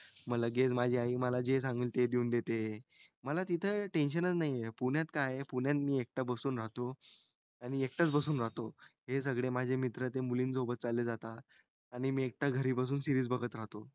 मी लगेच माझी आई मला जे सांगेल ते देऊन देते मला तिथं tension नाही हे पुण्यात काय आहे पुण्यात मी एकटा बसून राहतो आणि एकटाच बसून राहती हे सगळे माझे मित्र ते मुलींसोबत चाले जाता आणि मी एकटा घरी बसून त्या series बगत राहतो